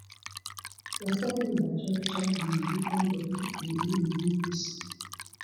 Ụfọdụ ịgba chaa chaa na-ebikọ ndụ ha n’okpuru ìhè ngosi!